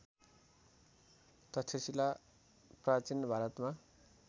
तक्षशिला प्राचीन भारतमा